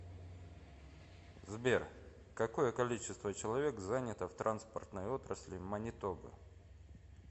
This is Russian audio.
сбер какое количество человек занято в транспортной отрасли манитобы